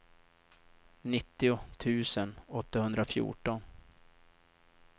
nittio tusen åttahundrafjorton